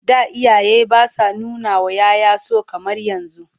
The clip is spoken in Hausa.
Da iyaye ba sa nunawa 'ya 'ya so kamar yanzu..